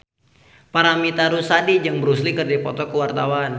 Paramitha Rusady jeung Bruce Lee keur dipoto ku wartawan